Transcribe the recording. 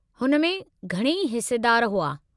हुन में घणई हिस्सेदार हुआ।